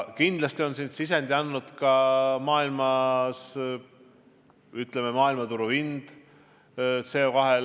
Kindlasti on siin oma sisendi andnud ka olukord maailmas, muu hulgas CO2 hind.